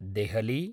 Delhi